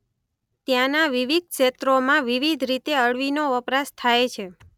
ત્યાંના વિવિધ ક્ષેત્રોમાં વિવિધ રીતે અળવીનો વપરાશ થાય છે.